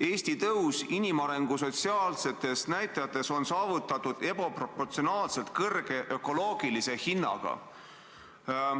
Eesti tõus inimarengu sotsiaalsetes näitajates on saavutatud ebaproportsionaalselt kõrge ökoloogilise hinnaga.